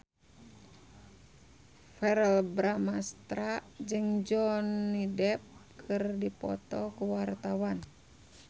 Verrell Bramastra jeung Johnny Depp keur dipoto ku wartawan